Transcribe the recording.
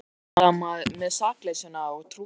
Maður heldur alltaf með sakleysinu og trúir á það.